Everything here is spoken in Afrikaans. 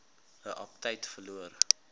u aptyt verloor